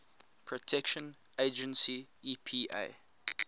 protection agency epa